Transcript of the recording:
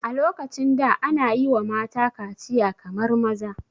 A lokacin da ana yiwa mata kaciya kamar maza